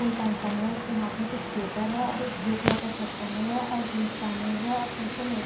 full pant पहने हुए है उसके हाथ में कुछ पेपर है और एक ब्लू कलर का शर्ट पहने हुए है और जीन्स पहने हुए है और पीछे में एक --